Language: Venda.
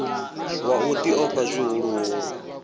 wa u ḽi ofha zwihuluhulu